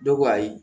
Dɔw ko ayi